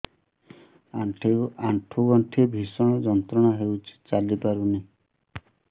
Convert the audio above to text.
ଆଣ୍ଠୁ ଗଣ୍ଠି ଭିଷଣ ଯନ୍ତ୍ରଣା ହଉଛି ଚାଲି ପାରୁନି